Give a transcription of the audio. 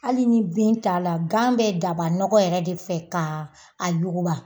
Hali ni bin t'a la gan bɛ daba nɔgɔ yɛrɛ de fɛ ka a yuguba.